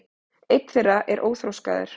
einn þeirra er óþroskaður